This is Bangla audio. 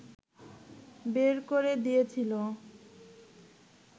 বের করে দিয়েছিলো